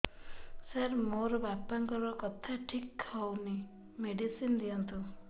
ସାର ମୋର ବାପାଙ୍କର କଥା ଠିକ ହଉନି ମେଡିସିନ ଦିଅନ୍ତୁ